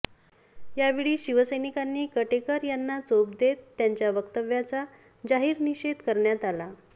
यावेळी शिवसैनिकांनी कटेकर यांना चोप देत त्यांच्या वक्तव्याचा जाहीर निषेध करण्यात आला